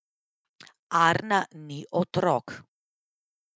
Arna ni otrok.